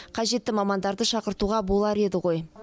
қажетті мамандарды шақыртуға болар еді ғой